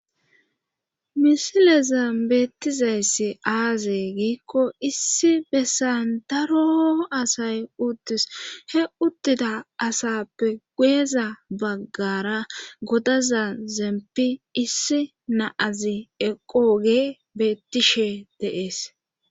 Misilezan beettizayssi aazey giikko issi bessan daro asay uttis he uttida asappe guyeeza baggara godaza zempi issi naa'azi eqqoge beettishe de'ees